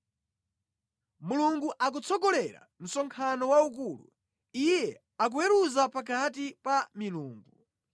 Mulungu akutsogolera msonkhano waukulu; Iye akuweruza pakati pa “milungu.”